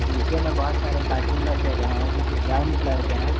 नीचे में बहोत सारे कार्टून रखें गए हैं जो की ब्राउन कलर के हैं।